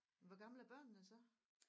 Hvor gammel er børnene så